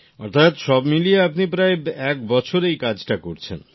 অর্থাৎ সব মিলিয়ে আপনি প্রায় একবছর এই কাজটা করছেন